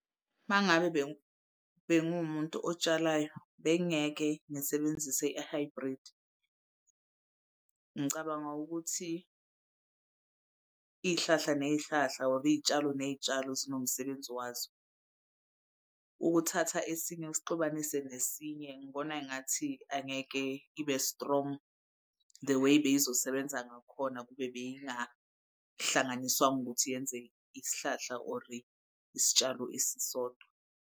Mangabe bengumuntu otshalayo bengingeke ngisebenzise i-hybrid. Ngicabanga ukuthi iy'hlahla ney'hlahla or iy'tshalo ney'tshalo zinomsebenzi wazo. Ukuthatha esinye usixubanise nesinye ngibona engathi angeke ibe strong the way bey'zosebenza ngakhona kube bey'ngahlanganiswanga ukuthi yenze isihlahla or isitshalo esisodwa.